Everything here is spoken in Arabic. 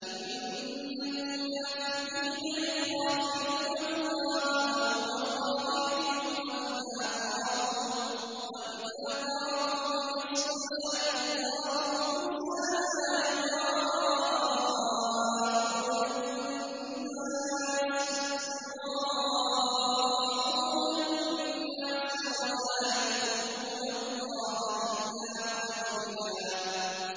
إِنَّ الْمُنَافِقِينَ يُخَادِعُونَ اللَّهَ وَهُوَ خَادِعُهُمْ وَإِذَا قَامُوا إِلَى الصَّلَاةِ قَامُوا كُسَالَىٰ يُرَاءُونَ النَّاسَ وَلَا يَذْكُرُونَ اللَّهَ إِلَّا قَلِيلًا